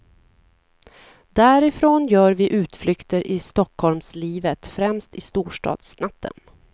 Därifrån gör vi utflykter i stockholmslivet, främst i storstadsnatten.